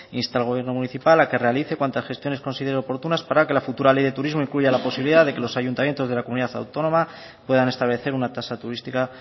insta al gobierno municipal a que realice cuantas gestiones considere oportunas para que la futura ley de turismo incluya la posibilidad de que los ayuntamientos de la comunidad autónoma puedan establecer una tasa turística